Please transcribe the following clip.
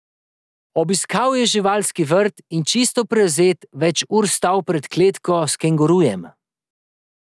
Obiskal je živalski vrt in čisto prevzet več ur stal pred kletko s kengurujem.